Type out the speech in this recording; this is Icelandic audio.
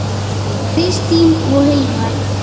Kristín og Hilmar.